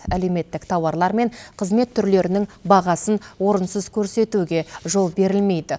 әлеуметтік тауарлар мен қызмет түрлерінің бағасын орынсыз көрсетуге жол берілмейді